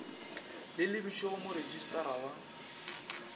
le lebišwe go moretšistara wa